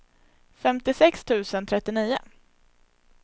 femtiosex tusen trettionio